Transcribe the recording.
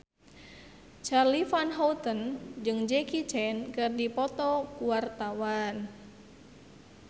Charly Van Houten jeung Jackie Chan keur dipoto ku wartawan